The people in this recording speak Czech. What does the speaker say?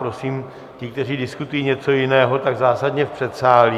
Prosím ty, kteří diskutují něco jiného, tak zásadně v předsálí.